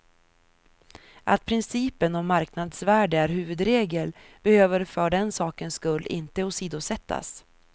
Att principen om marknadsvärde är huvudregel behöver för den sakens skull inte åsidosättas.